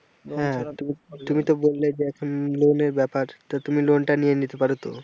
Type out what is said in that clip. তুমি তো বললে যে loan এর ব্যাপার তা তুমি loan টা নিয়ে নিতে পারো তো।